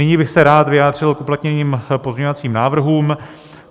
Nyní bych se rád vyjádřil k uplatněným pozměňovacím návrhům.